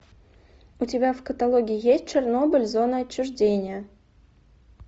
у тебя в каталоге есть чернобыль зона отчуждения